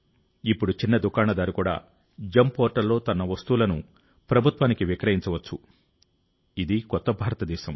ఇప్పుడు చిన్న దుకాణదారు కూడా జిఇఎం పోర్టల్లో తన వస్తువులను ప్రభుత్వానికి విక్రయించవచ్చు ఇది కొత్త భారతదేశం